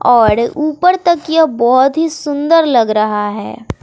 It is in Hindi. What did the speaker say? और ऊपर तक यह बहोत ही सुंदर लग रहा है।